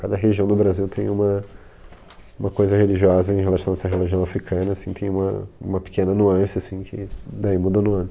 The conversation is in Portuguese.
Cada região do Brasil tem uma, uma coisa religiosa em relação a essa religião africana assim, tem uma pequena nuance assim que daí muda